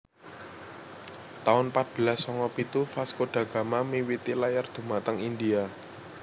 taun patbelas sanga pitu Vasco da Gama miwiti layar dhumateng India